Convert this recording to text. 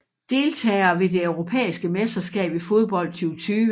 Deltagere ved det europæiske mesterskab i fodbold 2020